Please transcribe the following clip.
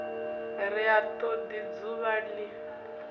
ri ha todi dzuvha li